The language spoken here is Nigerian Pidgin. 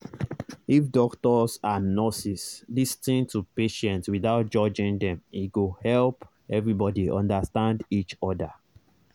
if doctors and nurses lis ten to patients without judging them e go help everybody understand each other